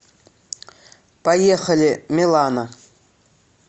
поехали милано